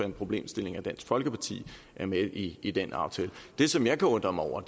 en problemstilling at dansk folkeparti er med i i den aftale det som jeg kan undre mig over